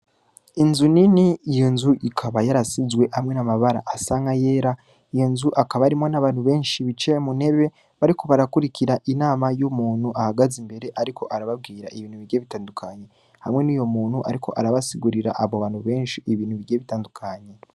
Inzu nini iyo nzu ikaba yarasizwe hamwe namabara asanga yera iyo nzu akaba arimo n'abantu benshi bicaye muntebe bariko barakurikira inama y'umuntu ahagaze imbere, ariko arababwira ibintu bigiye bitandukanye hamwe n'uyo muntu, ariko arabasigurira abo bantu benshi ibintu bigiye bitandukanye.